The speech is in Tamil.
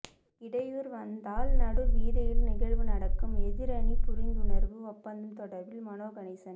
இடையூறு வந்தால் நடுவீதியில் நிகழ்வு நடக்கும் எதிரணி புரிந்துணர்வு ஒப்பந்தம் தொடர்பில் மனோ கணேசன்